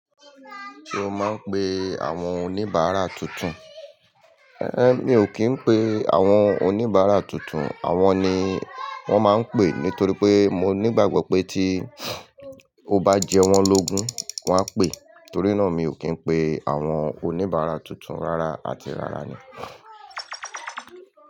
Ṣé o máa ń pe àwọn oníbàárà tuntun? Én, mi ò kì í pe àwọn oníbàárà tuntun. Àwọn ni wọ́n máa ń pè nítorí pé mo ní ìgbàgbọ́ pé tí o bá jẹ wọ́n lógún, wọn a pè. Nítorí náà mi ò kì í pe àwọn oníbàárà tuntun rárá àti rárá ni.